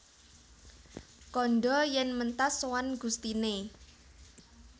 Kandha yèn mentas sowan gustiné